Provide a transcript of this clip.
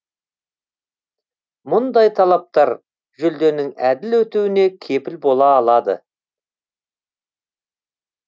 мұндай талаптар жүлденің әділ өтуіне кепіл бола алады